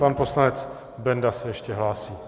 Pan poslanec Benda se ještě hlásí.